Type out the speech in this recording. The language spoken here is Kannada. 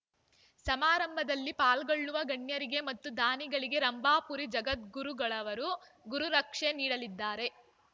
ಸಮಾರಂಭದಲ್ಲಿ ಪಾಲ್ಗೊಳ್ಳುವ ಗಣ್ಯರಿಗೆ ಮತ್ತು ದಾನಿಗಳಿಗೆ ರಂಭಾಪುರಿ ಜಗದ್ಗುರುಗಳವರು ಗುರುರಕ್ಷೆ ನೀಡಲಿದ್ದಾರೆ